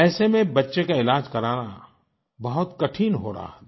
ऐसे में बच्चे का इलाज़ कराना बहुत कठिन हो रहा था